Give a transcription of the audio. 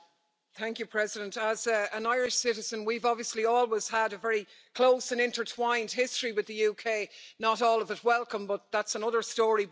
Madam President, as an Irish citizen, we've obviously always had a very close and intertwined history with the UK not all of it welcome, but that's another story.